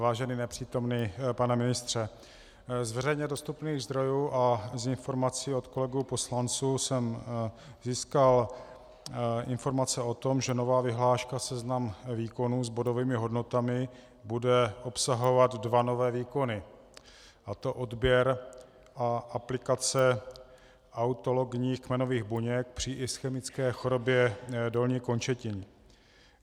Vážený nepřítomný pane ministře, z veřejně dostupných zdrojů a z informací od kolegů poslanců jsem získal informace o tom, že nová vyhláška Seznam výkonů s bodovými hodnotami bude obsahovat dva nové výkony, a to odběr a aplikace autologních kmenových buněk při ischemické chorobě dolních končetin.